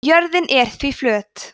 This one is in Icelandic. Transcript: jörðin er því flöt